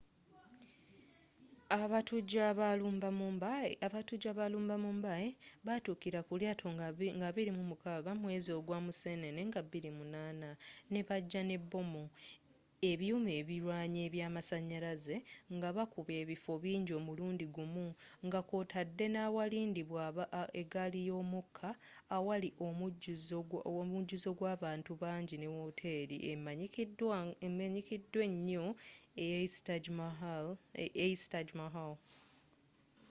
abatujju abaalumba mumbai baatukira ku lyaato nga 26 mwezi ogwa museenene nga 2008 nebajja ne bbomu ebyuma ebirwanyi eby'amasanyalaze nga bakuba ebifo bingi omulundi gumu nga kwootadde n'awalindibwa eggali y'omukka awali omujjuzo gw'abantu bangyine wooteri emmanyikiddwa enyo eys taj mahal